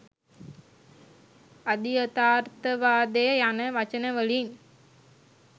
අධියථාර්ථවාදය යන වචන වලින්